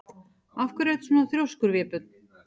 Af hverju ertu svona þrjóskur, Vébjörn?